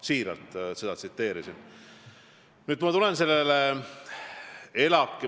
Nii et ma tsiteerisin seda siiralt.